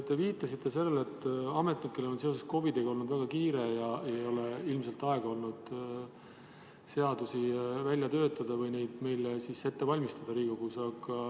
Te viitasite sellele, et ametnikel on seoses COVID-iga olnud väga kiire ja ei ole ilmselt olnud aega neid seadusi Riigikogus välja töötada või ette valmistada.